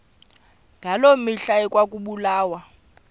ngaloo mihla ekwakubulawa